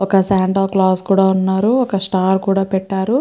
ఒక Santa Claus ఉన్నారు. ఒక స్టార్ కూడా పెట్టారు.